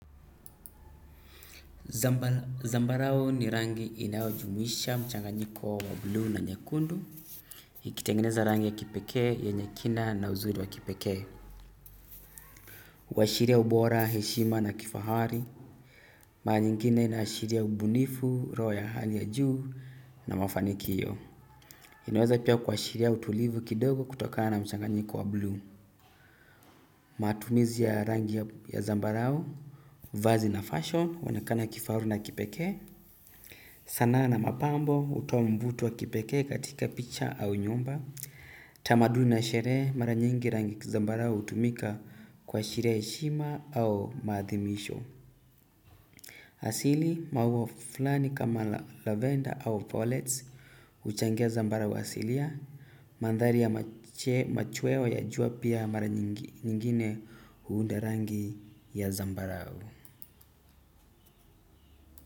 Zambarao ni rangi inaujumisha mchanganyiko wa blue na nyekundu. Ikitengineza rangi ya kipekee yenye kina na uzuri wa kipekee. Huwashiria ubora, heshima na kifahari. Mara nyingine inaashiria ubunifu, roho ya hali ya juu na mafanikio. Inaweza pia kuwashiria utulivu kidogo kutokana mchanganyiko wa blue. Matumizi ya rangi ya ya zambarao. Vazi na fashion huonekana kifahari na kipekee. Sanaa na mapambo hutoa mvuto wa kipekee katika picha au nyumba. Tamaduni na sherehe mara nyingi rangi ya kizambarao hutumika kwa ashiria ya heshima au maathimisho. Asili maua fulani kama lavender au fallets huchangia zambarao asilia. Mandhali ya mache machweo ya jua pia mara nyingi nyingine huunda rangi ya zambarao.